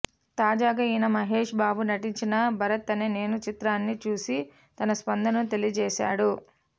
తాజాగా ఈయన మహేష్ బాబు నటించిన భరత్ అనే నేను చిత్రాన్ని చూసి తన స్పందనను తెలియజేసాడు